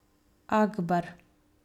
Akbar!